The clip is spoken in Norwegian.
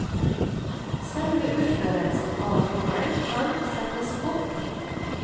Selve utførelsen av jobben kan settes bort.